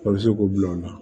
A bɛ se k'o bila o la